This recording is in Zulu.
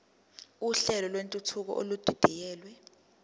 uhlelo lwentuthuko edidiyelwe